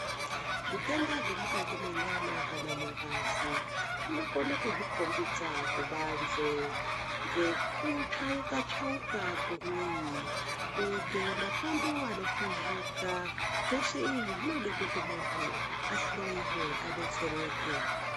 Zvitenda zvemukati menyama kana mungazi Zvinokona kuzvikombidza kubanze ngekutsvauka tsvauka kwemwiri kuita mapundu anopuzuka zveshe izvi zvinoda kuti muntu ahloiwa adetsereke.